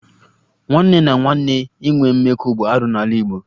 Nwanne na nwanne inwe mmekọ bụ arụ n'ala Igbo